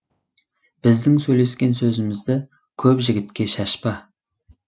біздің сөйлескен сөзімізді көп жігітке шашпа